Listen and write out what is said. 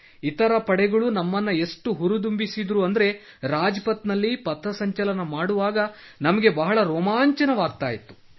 ಇತರ ಪಡೆಗಳು ನಮ್ಮನ್ನು ಎಷ್ಟು ಹುರಿದುಂಬಿಸುತ್ತಿದ್ದರು ಎಂದರೆ ರಾಜ್ಪಥ್ ನಲ್ಲಿ ಪಥ ಸಂಚಲನ ಮಾಡುವಾಗ ನಮಗೆ ಬಹಳ ರೋಮಾಂಚನವಾಗುತ್ತಿತ್ತು